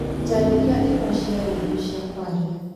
njarĩria imwe cia rĩndiũ cia kwaria